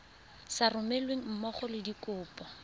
sa romelweng mmogo le dikopo